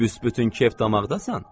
Büs-bütün kef-damaqdasan.